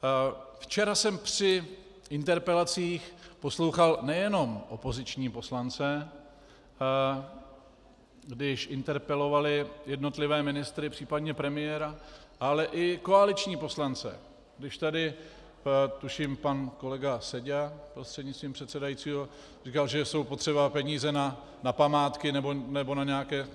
Včera jsem při interpelacích poslouchal nejenom opoziční poslance, když interpelovali jednotlivé ministry, případně premiéra, ale i koaliční poslance, když tady tuším pan kolega Seďa, prostřednictvím předsedajícího, říkal, že jsou potřeba peníze na památky nebo na nějaké...